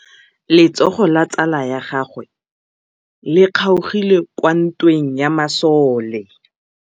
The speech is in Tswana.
Letsôgô la tsala ya gagwe le kgaogile kwa ntweng ya masole.